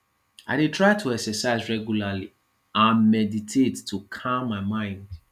i dey try to exercise regularly and meditate to calm my mind